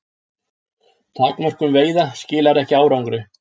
Takmörkun veiða skilar ekki árangri